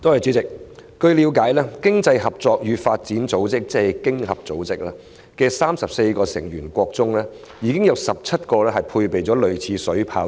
主席，據了解，經濟合作與發展組織的34個成員國中，有17個配備類似的水炮車。